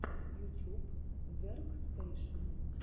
ютьюб веркстэшен